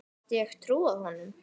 Gat ég trúað honum?